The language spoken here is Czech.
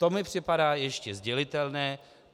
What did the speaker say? To mi připadá ještě sdělitelné.